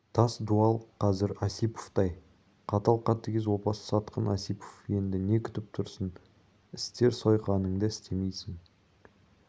тас дуал қазір осиповтай қатал қатыгез опасыз сатқын осипов енді не күтіп тұрсың істер сойқаныңды істемейсің